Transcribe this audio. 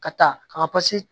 Ka taa ka